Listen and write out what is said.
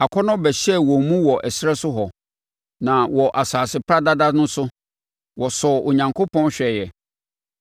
Akɔnnɔ bɛhyɛɛ wɔn mu wɔ ɛserɛ so hɔ, na wɔ asase paradada no so, wɔsɔɔ Onyankopɔn hwɛeɛ,